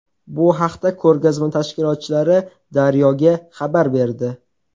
Bu haqda ko‘rgazma tashkilotchilari Daryo‘ga xabar berdi.